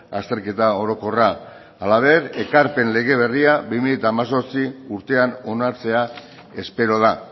azterketa orokorra halaber ekarpen lege berria bi mila hemezortzi urtean onartzea espero da